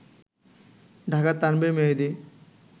ঢাকার তানভীর মেহেদি